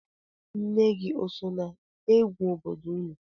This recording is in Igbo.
Nne gị o so n'egwu obodo unu?